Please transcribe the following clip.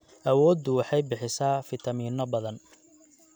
Awooddu waxay bixisaa fiitamiino badan.